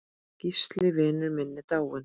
Gísli vinur minn er dáinn.